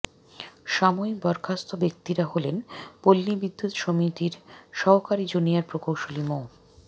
সাময়িক বরখাস্ত ব্যক্তিরা হলেন পল্লী বিদ্যুত্ সমিতির সহকারী জুনিয়র প্রকৌশলী মো